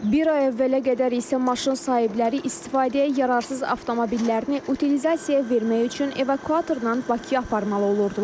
Bir ay əvvələ qədər isə maşın sahibləri istifadəyə yararsız avtomobillərini utilizasiyaya vermək üçün evakuatordan Bakıya aparmalı olurdular.